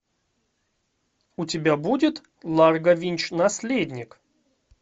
у тебя будет ларго винч наследник